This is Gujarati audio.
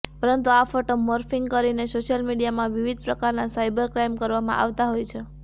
પરંતુ આ ફોટો મોર્ફિંગ કરીને સોશિયલ મીડિયામાં વિવિધ પ્રકારના સાઈબર ક્રાઈમ કરવામાં આવતા હોય છે